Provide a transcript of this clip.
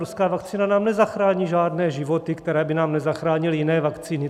Ruská vakcína nám nezachrání žádné životy, které by nám nezachránily jiné vakcíny.